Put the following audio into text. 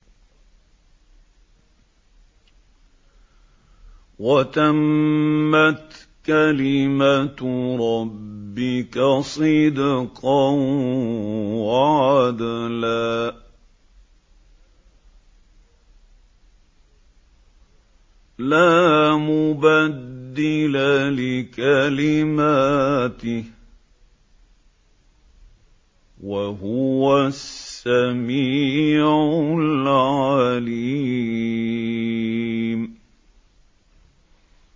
وَتَمَّتْ كَلِمَتُ رَبِّكَ صِدْقًا وَعَدْلًا ۚ لَّا مُبَدِّلَ لِكَلِمَاتِهِ ۚ وَهُوَ السَّمِيعُ الْعَلِيمُ